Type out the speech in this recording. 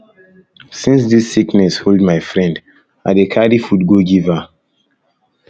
since dis sickness um hold my friend i dey carry food go give her